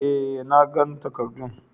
eh, nagan takarddun.